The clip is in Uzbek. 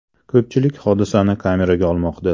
Ko‘pchilik hodisani kameraga olmoqda.